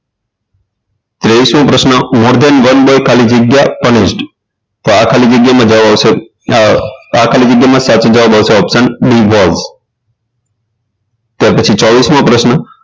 ત્રેવીસ મો પ્રશ્ન મોર્ગન વન બાય ખાલી જગ્યા કનિષ્ઠ તો આ ખાલી જગ્યામાં જવાબ આવશે આ ખાલી જગ્યામાં સાચો જવાબ આવશે option b વાળો ત્યાર પછી પછી ચોવીસ મો પ્રશ્ન